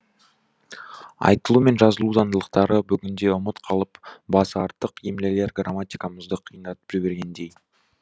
айтылу мен жазылу заңдылықтары бүгінде ұмыт қалып басы артық емлелер грамматикамызды қиындатып жібергендей